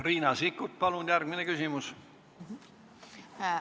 Riina Sikkut, palun järgmine küsimus!